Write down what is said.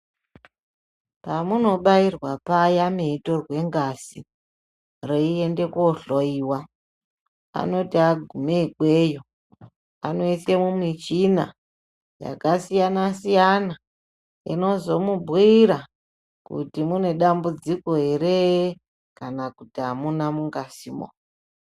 Pamunobairwa paya mweitorwe ngazi reiende kohloyiwa anoti agume ikweyo anoise mumichina yakasiyana siyana inozomubhuira kuti mune dambudziko ere kana kuti amuna mungazimwo.